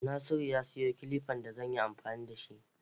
Nasiru ya sayo kilifan da zan yi amfani da shi.